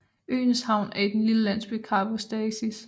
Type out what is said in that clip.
Øens havn er i den lille landsby Karavostasis